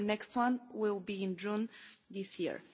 The next one will be in June this year.